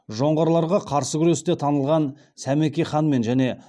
жоңғарларға қарсы күресте танылған сәмеке ханмен және